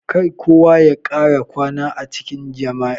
Kar kowa ya kara kwana a cikin jami'a.